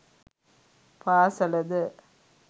පාසල ද